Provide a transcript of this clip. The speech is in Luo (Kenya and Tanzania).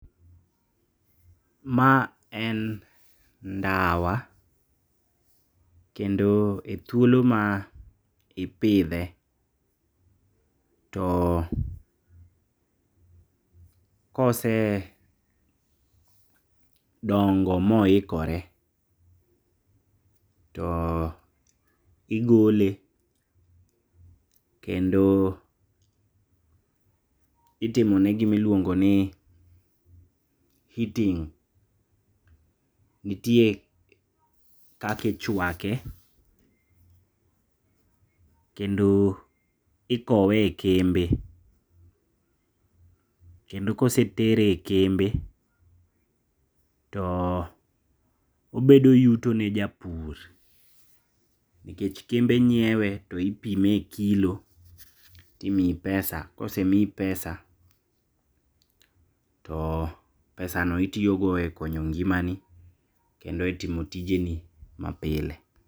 Ma en ndawa, kendo e thuolo ma ipithe kose dongo ma ohikore to igole kendo itimone gima iluongo ni heating, nitie kaka ichuake, kendo ikowe e kembe, kendo kosetere e kembe to obedo yuto ne japur, nikech kembe nyiewe to ipime e kilo timiyi pesa kosemiyi pesa to pesano itiyogo e konyo ng'imani kendo itimo tijeni mapile.